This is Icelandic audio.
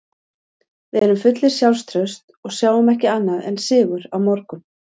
Við erum fullir sjálfstrausts og sjáum ekki annað en sigur á morgun.